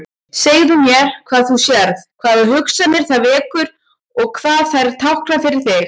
Segðu mér hvað þú sérð, hvaða hugsanir það vekur og hvað þær tákna fyrir þig.